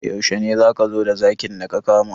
Yaushe ne za ka zo da zakin da ka kama?